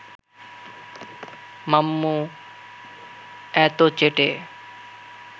মাম্মু এতো চেটে